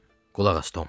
Qulaq as Tom.